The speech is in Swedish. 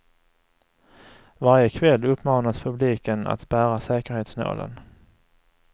Varje kväll uppmanas publiken att bära säkerhetsnålen.